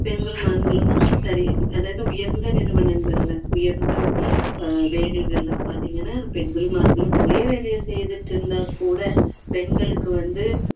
பெண்கள் ஆண்களும் சரி அதாவது உயர்ந்த நிறுவனங்களில உயர்ந்த வேலைகள் எல்லாம் பார்த்தீங்கன்னா பெண்களும் ஆண்களும் ஒரே வேலையை செய்துட்டு இருந்தாக்கூட பெண்களுக்கு வந்து